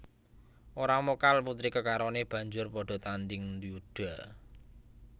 Ora mokal putri kekarone banjur padha tanding yuda